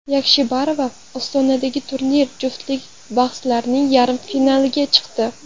Yakshibarova Ostonadagi turnir juftlik bahslarining yarim finaliga chiqdi.